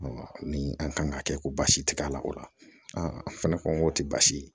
ni an kan ka kɛ ko basi tɛ k'a la o la an fɛnɛ ko k'o tɛ baasi ye